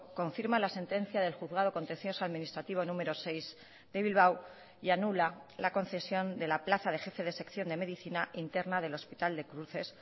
confirma la sentencia del juzgado contencioso administrativo número seis de bilbao y anula la concesión de la plaza de jefe de sección de medicina interna del hospital de cruces